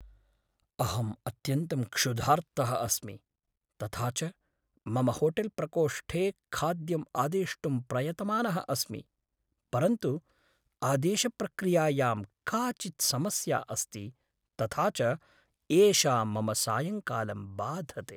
अहम् अत्यन्तं क्षुधार्तः अस्मि, तथा च मम होटेल्प्रकोष्ठे खाद्यम् आदेष्टुं प्रयतमानः अस्मि, परन्तु आदेशप्रक्रियायां काचित् समस्या अस्ति, तथा च एषा मम सायङ्कालं बाधते।